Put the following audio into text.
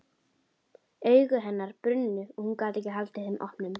Augu hennar brunnu og hún gat ekki haldið þeim opnum.